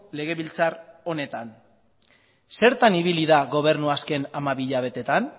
legebiltzar honetan zertan ibili da gobernua azken hamabi hilabeteetan